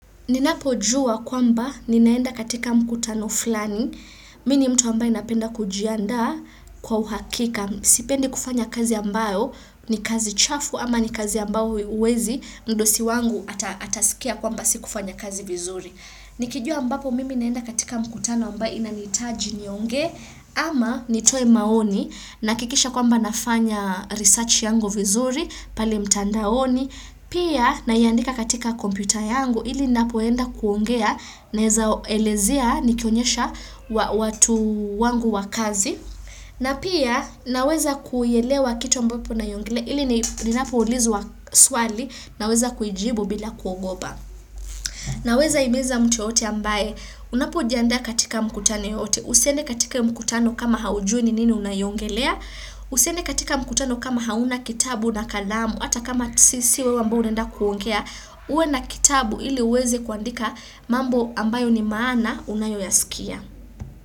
Ninapo jua kwamba ninaenda katika mkutano fulani, mini mtu ambaye napenda kujiandaa kwa uhakika, sipendi kufanya kazi ambayo, ni kazi chafu ama ni kazi ambayo uwezi, mdosi wangu atasikia kwamba si kufanya kazi vizuri. Nikijua ambapo mimi naenda katika mkutano ambaye inaniitaji niongee ama nitoe maoni na kikisha kwamba nafanya research yangu vizuri pale mtandaoni. Pia na iandika katika kompyuta yangu ili napoenda kuongea naeza elezea nikionyesha watu wangu wakazi. Na pia naweza kuelewa kitu ambapo unaiongelea ili ninapoulizwa swali naweza kuijibu bila kuogopa. Naweza imiza mtu yeyote ambaye unapo jiandaa katika mkutano yoyote. Usiende katika mkutano kama hauju ni nini unaiongelea. Usiende katika mkutano kama hauna kitabu na kalamu. Hata kama sisiwewe ambaye unaenda kuongea. Uwe na kitabu ili uweze kuandika mambo ambayo ni maana unayoyaskia.